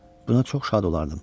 Buna çox şad olardım.